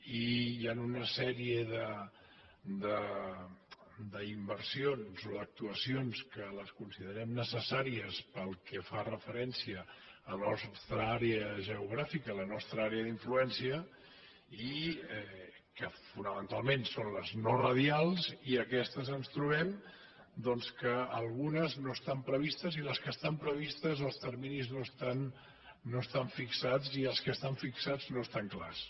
i hi ha una sèrie d’inversions o actuacions que les considerem necessàries pel que fa referència a la nostra àrea geogràfica a la nostra àrea d’influència que fonamentalment són les no radials i en aquestes ens trobem que algunes no estan previstes i a les que estan previstes els terminis no estan fixats i els que estan fixats no estan clars